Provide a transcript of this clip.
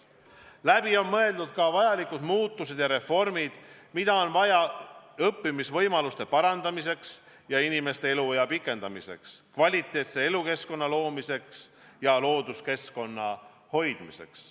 Läbi on mõeldud ka muutused ja reformid, mida on vaja õppimisvõimaluste parandamiseks ja inimeste eluea pikendamiseks, kvaliteetse elukeskkonna loomiseks ja looduskeskkonna hoidmiseks.